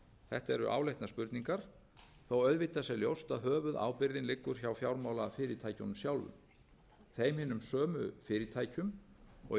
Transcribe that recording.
þetta eru áleitnar spurningar þó auðvitað sé ljóst að höfuðábyrgðin liggur hjá fjármálafyrirtækjunum sjálfum þeim hinum sömu fyrirtækjum og í